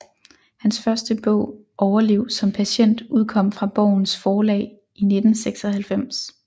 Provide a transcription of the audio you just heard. Hans første bog Overlev som Patient udkom fra Borgens Forlag i 1996